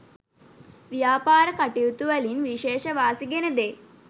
ව්‍යාපාර කටයුතුවලින් විශේෂ වාසි ගෙන දෙයි.